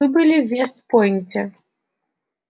вы были в вест-пойнте